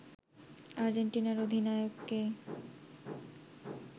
আর্জেন্টিনার অধিনায়ককে